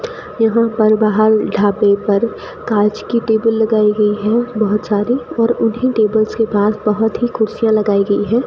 यहां पर बाहर ढाबे पर कांच की टेबिल लगाई गई है बहोत सारी और उन्ही टेबल्स के पास बहोत ही कुर्सियां लगाई गई हैं।